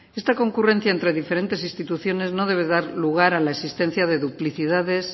esta concurrencia entre diferentes instituciones no debe dar lugar a la existencia de duplicidades